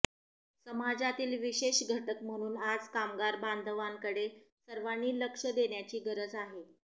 समाजातील विशेष घटक म्हणून आज कामगार बांधवाकडे सर्वांनी लक्ष देण्याची गरज आहे